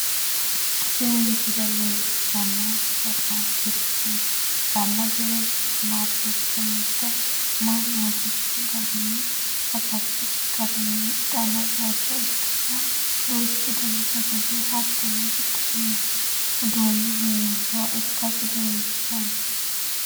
Tini misile leellishshannohu suppermaarkeetete mirte ikkanna, tini suppermaarkeetete mirte mannu hasi'rino garinni hasattosi garinni hidhanno bayicho ikkanna, duuchu dani sagale, hattono riqqinanni uduunni hee'rannowa ikkasi leellishshanno.